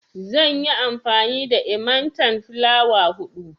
Zan yi amfani da enmatan filawa hudu.